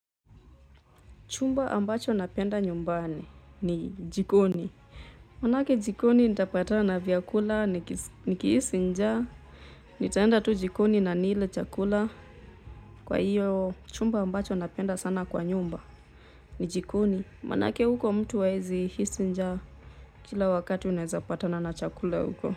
Chumba ambacho napenda nyumbani ni jikoni. Maanake jikoni nitapatana na vyakula nikihisi njaa. Nitaenda tu jikoni na nile chakula. Kwa hiyo chumba ambacho napenda sana kwa nyumba ni jikoni. Maanake huko mtu haezi hisi njaa kila wakati unaeza patana na chakula huko.